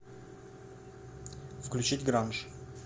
включить гранж